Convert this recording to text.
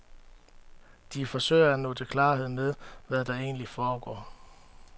De forsøger at nå til klarhed med, hvad der egentlig foregår.